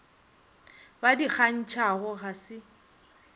ba di kgantšhago ga se